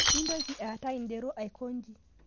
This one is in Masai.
Mintoki aata ldero aikonyi